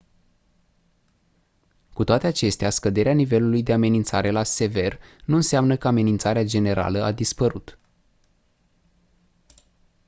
«cu toate acestea scăderea nivelului de amenințare la «sever» nu înseamnă că amenințarea generală a dispărut».